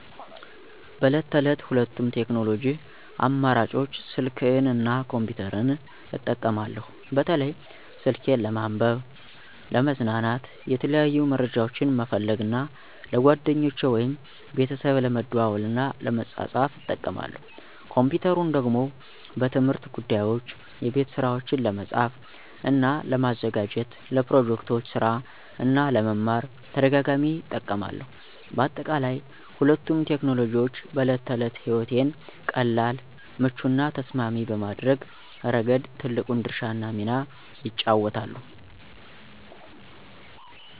በዕለት ተዕለት ሁለቱንም ቴክኖሎጂ አማራጮች ስልክን እና ኮምፒተርን እጠቀማለሁ። በተለይ ስልኬን ለመንበብ፣ ለመዝናናት፣ የተለያዩ መረጃዎችን መፈለግ እና ለጓደኞቼ ወይም ቤተሰብ ለመደዋወል እና ለመጻጻፍ እጠቀማለሁ። ኮምፒተሩን ደግሞ በትምህርት ጉዳዮች፣ የቤት ስራዎችን ለመጻፍ እና ለማዘጋጀት፣ ለፕሮጀክቶች ስራ እና ለመማር ተደጋጋሚ እጠቀማለሁ። በአጠቃላይ፣ ሁለቱም ቴክኖሎጂዎች በዕለት ተዕለት ሕይወቴን ቀላል፣ ምቹ እና ተስማሚ በማድረግ ረገድ ትልቁን ድርሻ እና ሚና ይጫወታሉ።